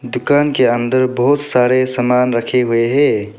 दुकान के अंदर बहुत सारे सामान रखे हुए है।